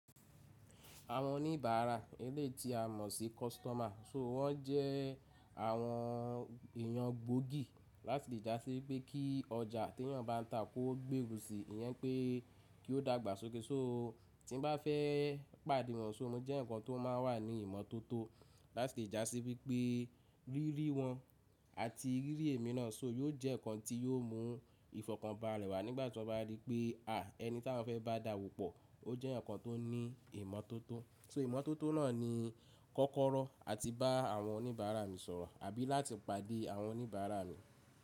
Àwọn oníbàárà eléyi tí a mọ̀ sí kọ́sítọ́mà so wọ́n jẹ́ àwọn èyàn gbòógì láti le jasí wipé kí ọjà tí èyàn bá ń ta kó gbèrú si, ìyẹn pé kíó dàgbà sókè. So tí m bá fẹ́ pàdé wọn, so mó jẹ́ eyan kan tó máa ń wà ní ìmọ́tótó láti le jà sí wípé rí rí wọ́n àti rí rí èmi náà so yóò jẹ́ nǹkan tí yóò mú ìfọ̀kàn bá wá nígbà tí wọ́n bá rí pé, ẹni tí awọ́n fẹ́ bá dàwópọ̀, ó jẹ́ eyan kan tó ní ìmọ́tótó. So ìmọ́tótó náà ni kọ́kọ́rọ́ àti bá àwọn oníbàárà mi sọ̀rọ̀ àbí láti pàdé àwọn oníbàárà mi.